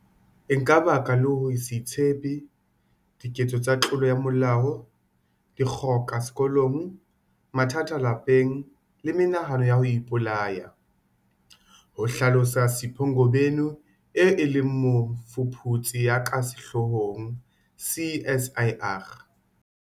E ka baka le ho se itshepe, diketso tsa tlolo ya molao, dikgoka sekolong, mathata lapeng le menahano ya ho ipolaya, ho hlalosa Sipho Ngobeni eo e leng mofuputsi ya ka sehloohong CSIR.